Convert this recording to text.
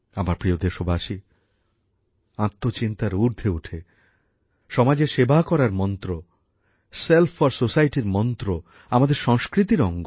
আমার প্রিয় দেশবাসী আত্মচিন্তার ঊর্ধ্বে উঠে সমাজের সেবা করার মন্ত্র সেল্ফ ফর সোসাইটির মন্ত্র আমাদের সংস্কৃতির অঙ্গ